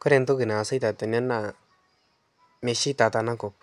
Kore ntoki naasita tene naa mesheita tenakop.